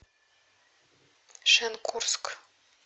шенкурск